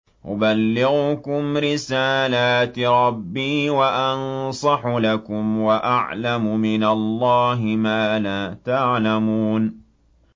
أُبَلِّغُكُمْ رِسَالَاتِ رَبِّي وَأَنصَحُ لَكُمْ وَأَعْلَمُ مِنَ اللَّهِ مَا لَا تَعْلَمُونَ